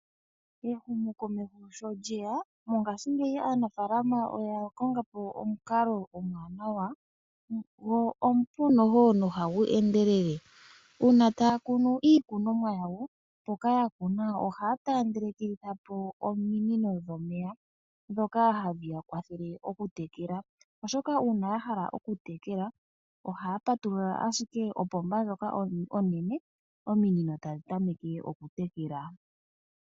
Ehumokomeho sho lyeya mongashingeyi aanafaalama oya konga po omukalo omwaanawa go omupu no hagu endelele. Uuna taya kunu iikunomwa yawo, mpoka ya kuna ohaya taandelekitha po ominino dhomeya ndhoka hadhi ya kwathele okutekela. Oshoka uuna ya hala okutekela ohaya patulula owala opomba ndjoka onene, ominino tadhi tameke okutekela.